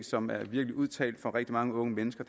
som er virkelig udtalt for rigtig mange unge mennesker